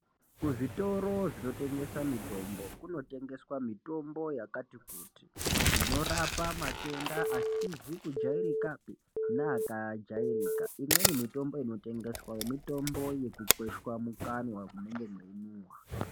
Kuzvitoro zvinote gesa mitombo kunotengeswa mitombo yakati kuti inorapa matenda asizi kujairikapi neaka jairika imweni mitombo inotengeswa mitombo yekukwesha mukanwa munenge meyi nhuwa.